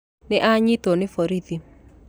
Nĩanyitwo nĩ borithi